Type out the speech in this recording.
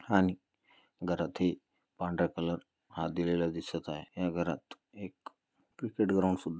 आणि घरात ही पांढरा कलर हा दिलेला दिसत आहे. या घरात एक